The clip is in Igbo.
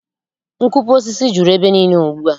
Nkupu osisi juru ebe niile ugbua